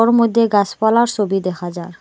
ওর মইদ্যে গাসপালা ছবি দেখা যার।